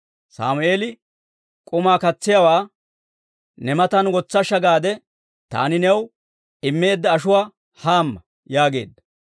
Sammeeli k'umaa katsiyaawaa, «Ne matan wotsashsha gaade taani new immeedda ashuwaa hamma» yaageedda.